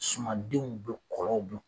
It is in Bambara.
Sumandenw bɛ kɔlɔw dun